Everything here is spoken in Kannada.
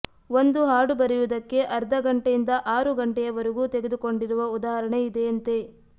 ಒಂದು ಹಾಡು ಬರೆಯುವುದಕ್ಕೆ ಅರ್ಧಗಂಟೆಯಿಂದ ಆರು ಗಂಟೆಯವರೆಗೂ ತೆಗೆದುಕೊಂಡಿರುವ ಉದಾಹರಣೆ ಇದೆಯಂತೆ